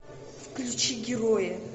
включи герои